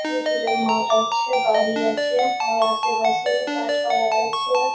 এবং দূরে মাঠ আছে বাড়ি আছে আর আশেপাশে গাছপালা আছে।